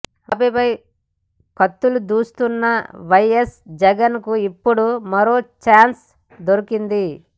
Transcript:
బాబుపై కత్తులు దూస్తున్న వైఎస్ జగన్ కు ఇప్పుడు మరో చాన్స్ దొరికింది